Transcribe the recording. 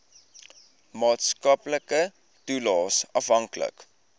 maatskaplike toelaes afhanklik